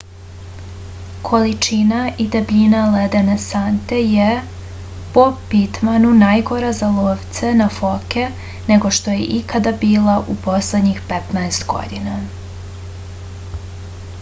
količina i debljina ledene sante je po pitmanu najgora za lovce na foke nego što je ikada bila u poslednjih 15 godina